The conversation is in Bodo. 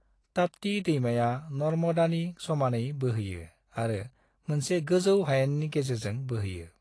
ताप्ती दैमाया नर्मदानि समानै बोहैयो आरो मोनसे गोजौ हायेननि गेजेरजों बोहैयो।